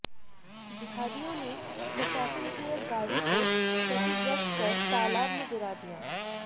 जिहादियों ने प्रशासन की एक गाडी को क्षतिग्रस्त कर तालाब में गिरा दिया